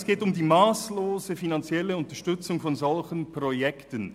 Es geht um die masslose finanzielle Unterstützung solcher Projekte.